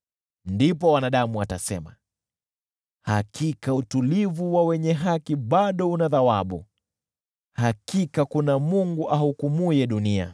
Ndipo wanadamu watasema, “Hakika utulivu wa wenye haki bado una thawabu, hakika kuna Mungu ahukumuye dunia.”